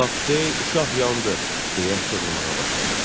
Vaxtı, uşaq yandı, deyə çığırmağa başladı.